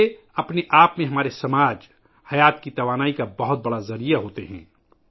میلے اپنے آپ میں ہمارے معاشرے، زندگی کے لئے توانائی کا ایک بڑا ذریعہ ہیں